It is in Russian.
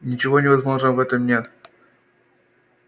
ничего невозможного в этом нет